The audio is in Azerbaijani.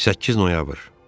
8 noyabr.